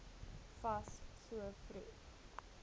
fas so vroeg